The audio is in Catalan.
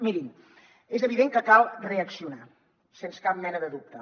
mirin és evident que cal reaccionar sens cap mena de dubte